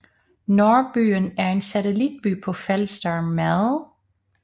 Nordbyen er en satellitby på Falster med